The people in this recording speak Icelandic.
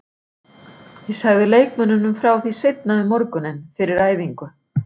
Ég sagði leikmönnunum frá því seinna um morguninn, fyrir æfingu.